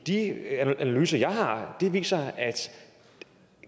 analyser jeg har har viser at